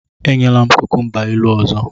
Enyela m kukumba ilu ọzọ!